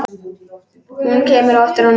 Hún kemur á eftir honum.